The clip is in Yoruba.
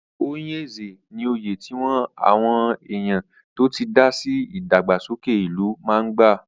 Oyè Nze ní oyè tí wọ́n àwọn èèyàn tó ti dásí ìdàgbàsókè ìlú máa ń gbà.